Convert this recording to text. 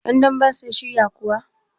yandamben sun shiryakuwa?